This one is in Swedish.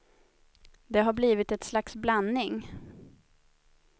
Det har blivit ett slags blandning.